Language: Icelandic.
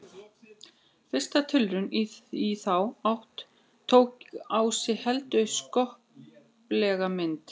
Fyrsta tilraun í þá átt tók á sig heldur skoplega mynd.